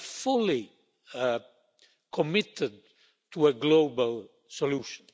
we are fully committed to a global solution.